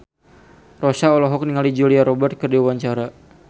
Rossa olohok ningali Julia Robert keur diwawancara